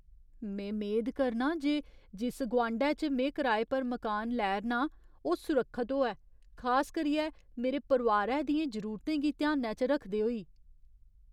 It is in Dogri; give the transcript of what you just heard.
में मेद करनां जे जिस गोआंढै च में कराए पर मकान लै 'रना आं ओह् सुरक्खत होऐ, खास करियै मेरे परोआरै दियें जरूरतें गी ध्यानै च रखदे होई।